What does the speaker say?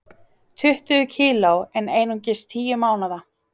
Tuttugu kg en einungis tíu mánaða